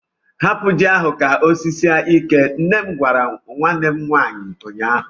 Hapụ ji ahụ ka o sisie ike! nne m gwara nwanne m nwaanyị ụnyaahụ.